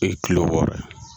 O ye kilo wɔɔrɔ ye.